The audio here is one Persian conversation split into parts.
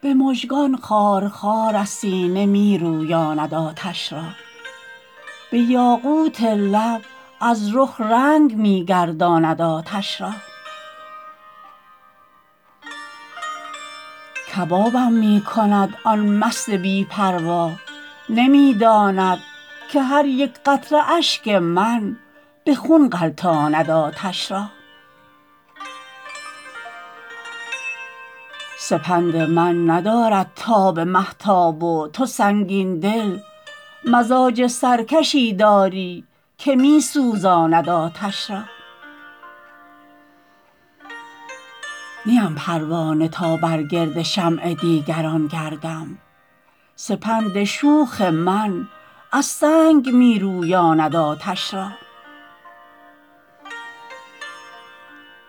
به مژگان خارخار از سینه می رویاند آتش را به یاقوت لب از رخ رنگ می گرداند آتش را کبابم می کند آن مست بی پروا نمی داند که هر یک قطره اشک من به خون غلتاند آتش را سپند من ندارد تاب مهتاب و تو سنگین دل مزاج سرکشی داری که می سوزاند آتش را نیم پروانه تا بر گرد شمع دیگران گردم سپند شوخ من از سنگ می رویاند آتش را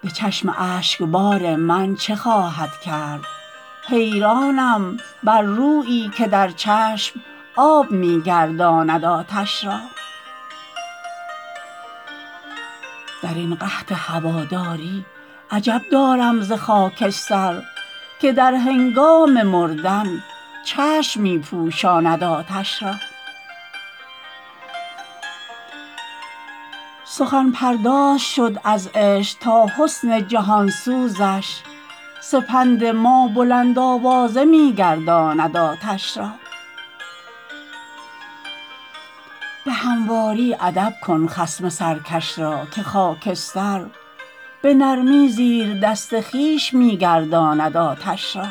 به چشم اشکبار من چه خواهد کرد حیرانم بر رویی که در چشم آب می گرداند آتش را درین قحط هواداری عجب دارم ز خاکستر که در هنگام مردن چشم می پوشاند آتش را سخن پرداز شد از عشق تا حسن جهانسوزش سپند ما بلند آوازه می گرداند آتش را به همواری ادب کن خصم سرکش را که خاکستر به نرمی زیر دست خویش می گرداند آتش را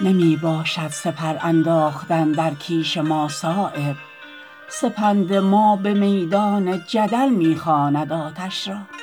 نمی باشد سپر انداختن در کیش ما صایب سپند ما به میدان جدل می خواند آتش را